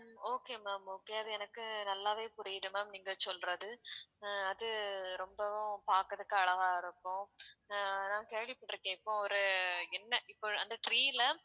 okay ma'am okay அது எனக்கு நல்லாவே புரியுது ma'am நீங்க சொல்றது அஹ் அது ரொம்பவும் பாக்குறதுக்கு அழகா இருக்கும் அஹ் நான் கேள்விப்பட்டுருக்கேன் இப்போ ஒரு என்ன இப்ப அந்த tree ல